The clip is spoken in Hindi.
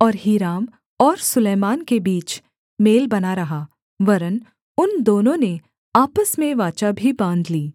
और हीराम और सुलैमान के बीच मेल बना रहा वरन् उन दोनों ने आपस में वाचा भी बाँध ली